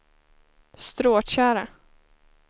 Stråtjära